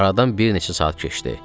Aradan bir neçə saat keçdi.